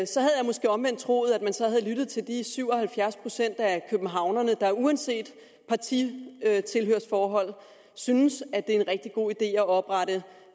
måske omvendt troet at man så havde lyttet til de syv og halvfjerds procent af københavnerne der uanset partitilhørsforhold synes at det er en rigtig god idé at oprette